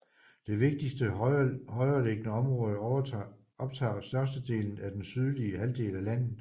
Det vigtigste højereliggende område optager størstedelen af den sydlige halvdel af landet